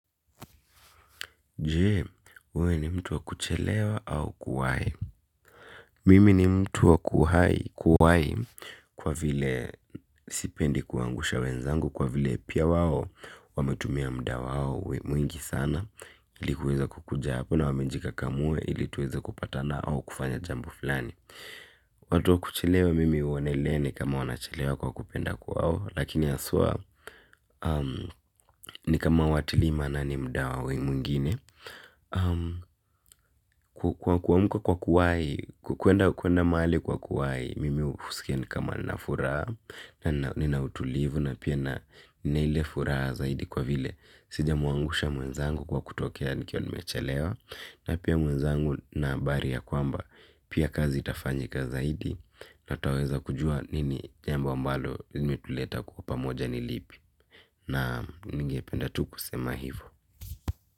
Je, wewe ni mtu wa kuchelewa au kuwahi. Mimi ni mtu wa kuhai kuhai kwa vile sipendi kuangusha wenzangu kwa vile pia wao wametumia muda wao mwingi sana ilikuweza kukuja hapo na wamejikakamua ili tuweza kupatana au kufanya jambo fulani. Watu wa kuchelewa mimi huonelea ni kama wanachelewa kwa kupenda kwao lakini haswa ni kama hawatilii maanani muda wa wengine. Kuamka kwa kuwai, kwenda kwenda mahali kwa kuwai mimi husikia ni kama na furaha. Na nina utulivu na pia na ninaile furaha zaidi kwa vile sijamuangusha mwenzangu kwa kutokea nikiwa nimechelewa na pia mwenzangu na habari ya kwamba pia kazi itafanyika zaidi. Natwaweza kujua nini jambo ambalo imetuleta kuwa pamoja nilipi. Naam ninge penda tu kusema hivo.